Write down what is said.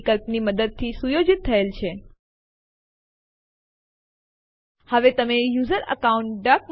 જો ટેસ્ટ2 પહેલાથી જ અસ્તિત્વમાં છે તો તે ઓવરરાઈટ થઇ જશે